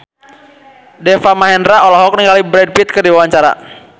Deva Mahendra olohok ningali Brad Pitt keur diwawancara